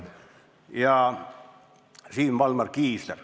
... ja Siim Valmar Kiisler.